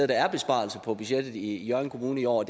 der er besparelser på budgettet i hjørring kommune i år